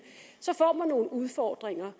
så får man nogle udfordringer